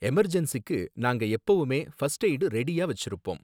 எமர்ஜென்ஸிக்கு நாங்க எப்பவுமே first aid ரெடியா வெச்சிருப்போம்.